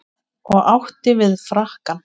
Og átti við frakkann.